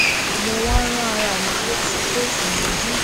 mo wá rán ara mi létí pé ìríjú